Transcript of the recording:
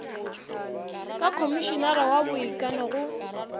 ka khomišinara wa boikano go